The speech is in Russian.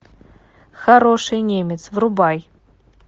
хороший немец врубай